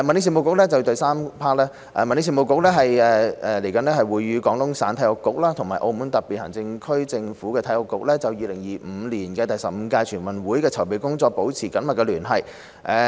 三民政事務局與廣東省體育局及澳門特別行政區政府體育局就2025年第十五屆全運會的籌備工作保持緊密聯繫。